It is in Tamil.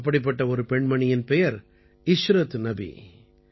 அப்படிப்பட்ட ஒரு பெண்மணியின் பெயர் இஷ்ரத் நபி